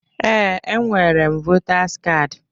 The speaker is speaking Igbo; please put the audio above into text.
Ee, enwere m Votaz kaadi